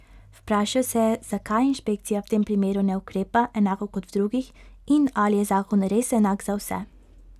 Vprašal se je, zakaj inšpekcija v tem primeru ne ukrepa enako kot v drugih in ali je zakon res enak za vse.